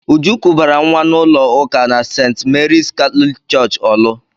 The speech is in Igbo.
Uju kubara nwa n'ụlọ ụka na St. Mary's Catholic Church Orlu.